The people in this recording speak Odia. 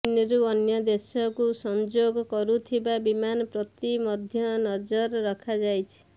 ଚୀନ୍ରୁ ଅନ୍ୟ ଦେଶକୁ ସଂଯୋଗ କରୁଥିବା ବିମାନ ପ୍ରତି ମଧ୍ୟ ନଜର ରଖାଯାଇଛି